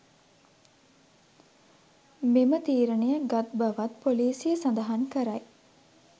මෙම තීරණය ගත් බවත් පොලීසිය සඳහන් කරයි.